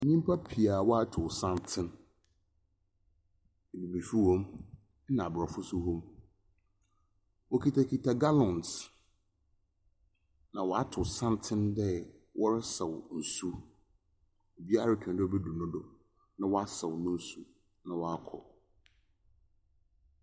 Nnipa pii a wɔatow santsen. Ebibifo wom na aborɔfo nso wom. Wɔkitakita gallons, na wɔatow santsen dɛ wɔresaw nsu. Obiara retwɛn dɛ obedur ne do na wasaw ne nsu na wakɔ.